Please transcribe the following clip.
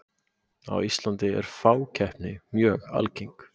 Á Íslandi er fákeppni mjög algeng.